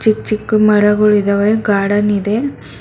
ಈ ಚಿಕ್ ಮರಗುಳಿದವೆ ಗಾರ್ಡನ್ ಇದೆ.